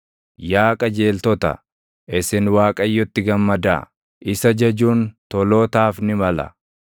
Yaa qajeeltota, isin Waaqayyotti gammadaa; isa jajuun tolootaaf ni mala.